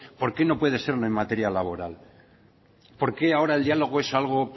por qué no puede serlo en materia laboral por qué ahora el diálogo es algo